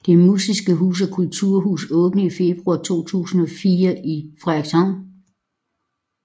Det Musiske Hus er et kulturhus åbnet i februar 2004 i Frederikshavn